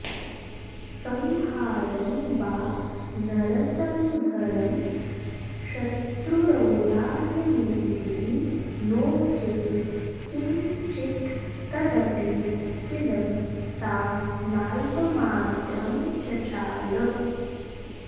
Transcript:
संहार्दं वा नरतनुधरं शत्रुरौदार्यमूर्तिः नोचे किङ्चित् तदपि किल सा नाल्पमात्रं चचाल